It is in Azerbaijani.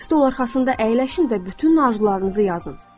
Stol arxasında əyləşin və bütün arzularınızı yazın.